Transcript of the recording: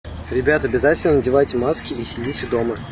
ребята обязательно надевайте маски и сидите дома